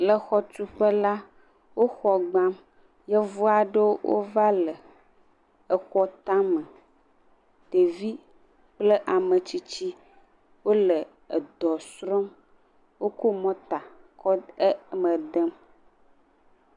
Le xɔtuƒe la wo xɔ gbam yevu aɖewo va le xɔa tame ɖevi kple ametsitsi wole dɔ srɔm wokɔ mɔta kɔ eme dem